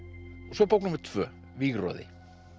svo bók númer tvö